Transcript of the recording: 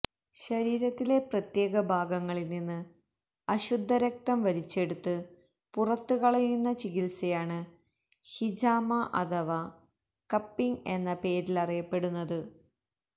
ശരീരത്തിലെ പ്രത്യേക ഭാഗങ്ങളിൽനിന്ന് അശുദ്ധ രക്തം വലിച്ചെടുത്ത് പുറത്ത് കളയുന്ന ചികിത്സയാണ് ഹിജാമ അഥവ കപ്പിങ് എന്ന പേരിലറിയപ്പെടുന്നത്